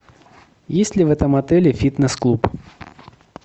есть ли в этом отеле фитнес клуб